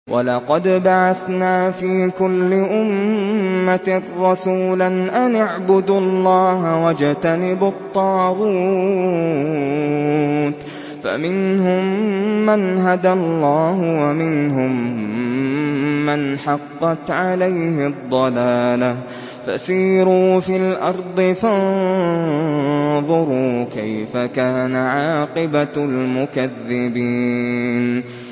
وَلَقَدْ بَعَثْنَا فِي كُلِّ أُمَّةٍ رَّسُولًا أَنِ اعْبُدُوا اللَّهَ وَاجْتَنِبُوا الطَّاغُوتَ ۖ فَمِنْهُم مَّنْ هَدَى اللَّهُ وَمِنْهُم مَّنْ حَقَّتْ عَلَيْهِ الضَّلَالَةُ ۚ فَسِيرُوا فِي الْأَرْضِ فَانظُرُوا كَيْفَ كَانَ عَاقِبَةُ الْمُكَذِّبِينَ